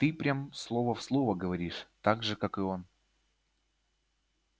ты прям слово в слово говоришь так же как и он